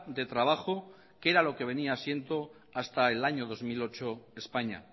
de trabajo que era lo que venía siendo hasta el año dos mil ocho españa